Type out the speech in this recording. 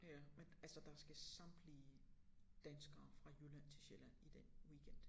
Ja men altså der skal samtlige danskere fra Jylland til Sjælland i den weekend